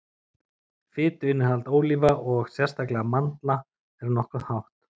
fituinnihald ólíva og sérstaklega mandla er nokkuð hátt